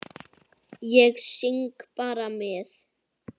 Ég syng bara með.